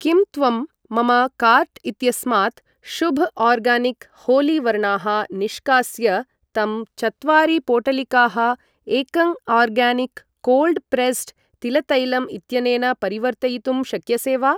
किं त्वं मम कार्ट् इत्यस्मात् शुभ् आर्गानिक् होलि वर्णाः निष्कास्य तं चत्वारि पोटलिकाः एकंआर्गानिक् कोल्ड् प्रेस्स्ड् तिलतैलम् इत्यनेन परिवर्तयितुं शक्यसे वा?